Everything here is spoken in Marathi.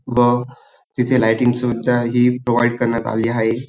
व तिथे लायटिंग सुविधा ही प्रोवाइड करण्यात आलेली आहे.